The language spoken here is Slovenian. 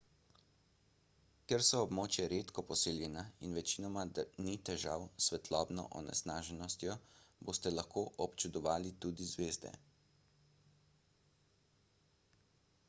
ker so območja redko poseljena in večinoma ni težav s svetlobno onesnaženostjo boste lahko občudovali tudi zvezde